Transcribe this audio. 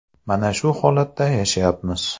Mana shu holatda yashayapmiz.